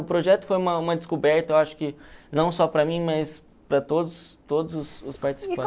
O projeto foi uma uma descoberta, eu acho que, não só para mim, mas para todos todos os os participantes.